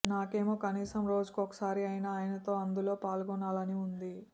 నాకేమో కనీసం రోజుకోసారి అయినా ఆయనతో అందులో పాల్గొనాలని ఉంది